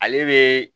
Ale bɛ